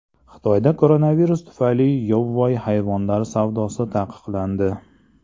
Xitoyda koronavirus tufayli yovvoyi hayvonlar savdosi taqiqlandi.